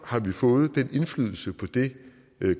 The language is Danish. har vi fået den indflydelse på det